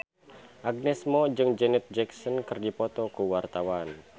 Agnes Mo jeung Janet Jackson keur dipoto ku wartawan